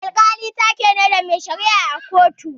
Alkali taa ke ne, na mai shara'a a kotu.